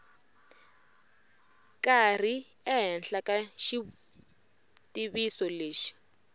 karhi ehenhla ka xitiviso lexi